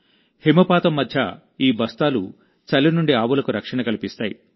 హిమపాతం మధ్యఈ బస్తాలు చలి నుండి ఆవులకు రక్షణ కల్పిస్తాయి